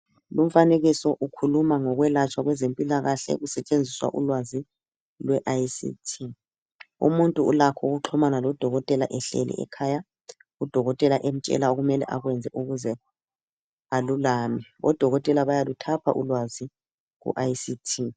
Lumfanekiso ukhuluma ngokwelatshwa kwezempilakahle kusetshenziswa ulwazi lwe ICT umuntu ulakho ukuxhumana lo dokotela ehleli ekhaya u dokotela emtshela okumele akwenze ukuze alulame odokotela bayaluthapha ulwazi ku ICT.